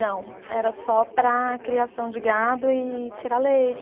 Não, era só para criação de gado e tirar leite.